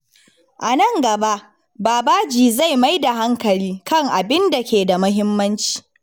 A nan gaba, Babaji zai mai da hankali kan abin da ke da muhimmanci.